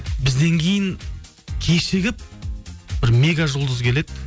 бізден кейін кешігіп бір мега жұлдыз келеді